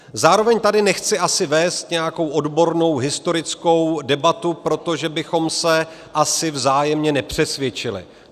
Zároveň tady nechci asi vést nějakou odbornou historickou debatu, protože bychom se asi vzájemně nepřesvědčili.